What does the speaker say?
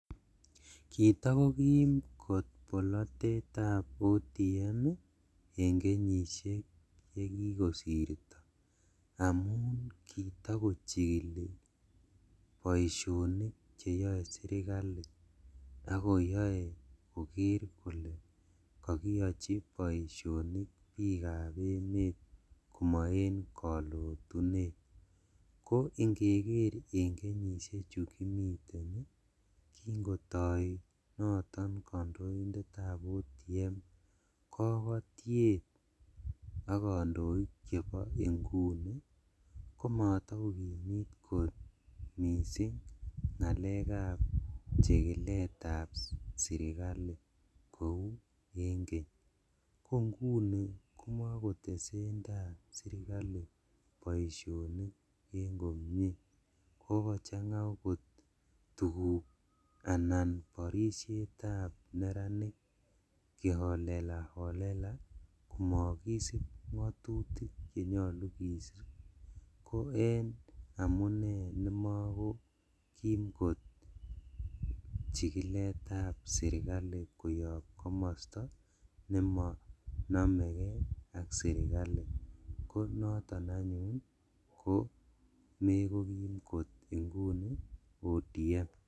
Kitokokim kot bolotetab ODM en kenyishek chekikosirto amun kitokochikili boisionik cheyoe sirkali ak koyoe koker kole kokiyochi boisionik bikab emet komo en kolotunet, ko inkeker en kenyishechu kimiten ii kingotoinoton kondoindetab ODM kokotiet ok kondoik chebo inguni komotokokimit kot ngalekab chikiletab surkali kou en keny, ko nguni komokitesendaa sirkali boisionik en komie, kokochanga okot tuguk anan borishetab neranik [ca] kiholelaholela komokisib ngotutik chemokotin ko en amune nemokokim kot chikiletab sirkali koyob komosto nemonomekei ak sirkali konoton anyun mekokim kot inguni ODM.